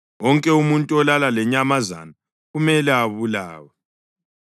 Wonke umuntu olala lenyamazana kumele abulawe.